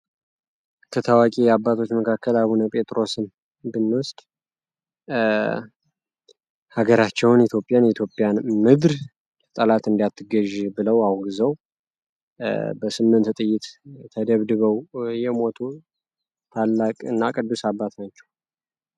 ከታዋቂ አባቶች መካከል አቡነ ጴጥሮስን ብንወስድ ሀገራቸውን ኢትዮጵያን የኢትዮጵያን ምድር ጠላት እንዳትገዢ ብለው አውግዞ በስምንት ጥይት ተደብድበው የሞቱ ታላቅና ቅዱስ አባት ናቸው።